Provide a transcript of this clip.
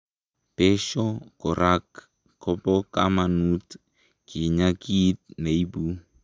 besho korak kobokamanut kinyaa kiit neibu